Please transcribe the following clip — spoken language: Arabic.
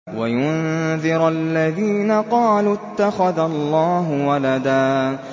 وَيُنذِرَ الَّذِينَ قَالُوا اتَّخَذَ اللَّهُ وَلَدًا